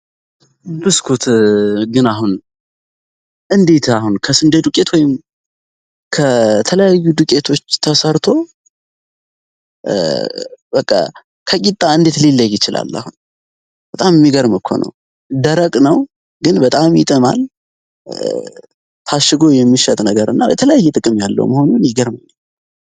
ብስኩት ግን አሁን እንዴት አሁን ከስንዴ ድቄት ወይም ከተለያዩ ድቄቶች ተሰርቶ ከቂጣ እንዴት ሌለይ ይችላል። አሁን በጣም የሚገርም እኮነው ደረቅ ነው ግን በጣም ይጥማል ታሽጎ የሚሸት ነገር እና የተለያይ ጥቅም ያለው መሆኑን ይገርም ነው።